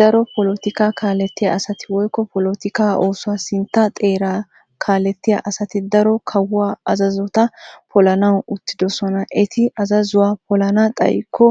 Daro polotikaa kaalettiya asati woyikko polotikaa oosuwaa sintta xeeraara kaalettiya asati daro kawuwa azazota polanawu uttidosona. Eti azazuwa polana xayikko